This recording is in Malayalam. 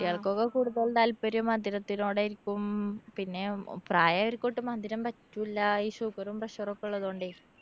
കുട്ട്യോള്‍ക്കൊക്കെ കൂടുതലും താല്‍പര്യം മധുരത്തിനോടായിരിക്കും. പിന്നെ പ്രായായോര്‍ക്കോട്ട് മധുരം പറ്റുല്ലാ. ഈ sugar ഉം pressure ഒക്കെ ഉള്ളതുണ്ടേ.